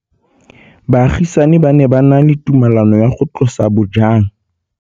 Baagisani ba ne ba na le tumalanô ya go tlosa bojang.